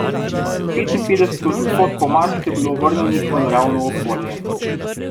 Petinpetdeset odstotkov mačk je bilo vrnjenih v naravno okolje.